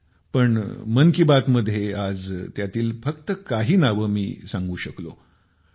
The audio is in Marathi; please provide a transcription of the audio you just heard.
पण मन की बात मध्ये आज त्यातील फक्त काही नावे मी सांगू शकलो आहे